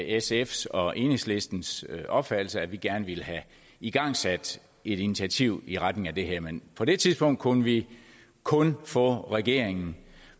sfs og enhedslistens opfattelse at vi gerne ville have igangsat et initiativ i retning af det her men på det tidspunkt kunne vi kun få regeringen